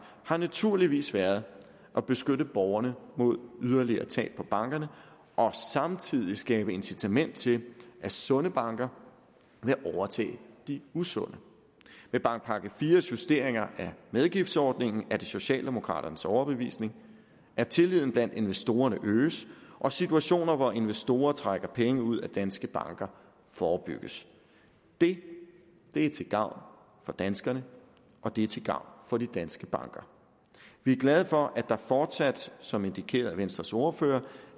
har naturligvis været at beskytte borgerne mod yderligere tab på bankerne og samtidig skabe incitament til at sunde banker vil overtage de usunde med bankpakke ivs justeringer af medgiftsordningen er det socialdemokraternes overbevisning at tilliden blandt investorerne øges og situationer hvor investorer trækker penge ud af danske banker forebygges det er til gavn for danskerne og det er til gavn for de danske banker vi er glade for at der fortsat som indikeret af venstres ordfører